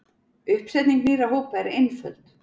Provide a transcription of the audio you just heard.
Uppsetning nýrra hópa er einföld.